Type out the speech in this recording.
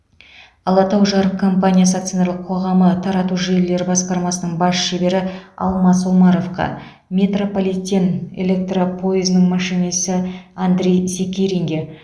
алатау жарык компаниясы акционерлік қоғамы тарату желілері басқармасының бас шебері алмас омаровқа метрополитен электропойызының машинисі андрей секиркинге